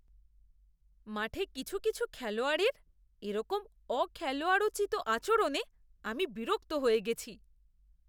মাঠে কিছু কিছু খেলোয়াড়ের এরকম অখেলোয়াড়োচিত আচরণে আমি বিরক্ত হয়ে গেছি।